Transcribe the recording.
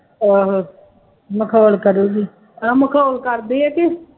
ਆਹੋ ਮਖੌਲ ਕਰੂਗੀ, ਨਾ ਮਖੌਲ ਕਰਦੀ ਹੈ ਕਿ